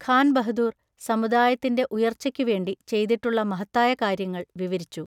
ഖാൻ ബഹദൂർ സമുദായത്തിന്റെ ഉയർച്ചയ്ക്കു വേണ്ടി ചെയ്തിട്ടുള്ള മഹത്തായ കാര്യങ്ങൾ വിവരിച്ചു.